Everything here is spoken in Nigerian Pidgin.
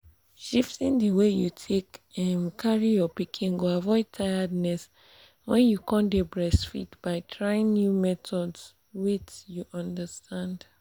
shifting the way you take um carry your pikin go avoid tiredness when you um dey breastfeed by trying new methods wait you understand.